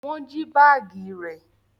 Wọn jí baagi rẹ